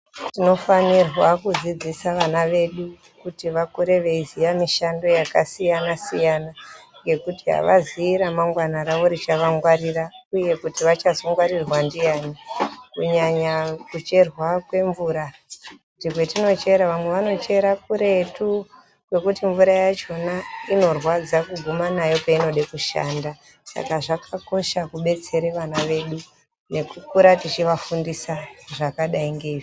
Tinofanirwa kudzidzisa vana vedu kuti vakure veiziya mishando yakasiyana-siyana, ngekuti havazii ramangwana ravo richavangwarira, uye kuti vachazongwarirwa ndiani. Kunyanya kucherwa kwemvura, kuti kwetinochera, vamwe vanochera kuretu kwekuti mvura yachona inorwadza kuguma nayo peinode kushanda. Saka zvakakosha kubetsere vana vedu nekukura tichivafundisa zvakadai ngeizvi.